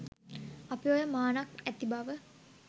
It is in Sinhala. අපි ඔය මානක් ඇති බව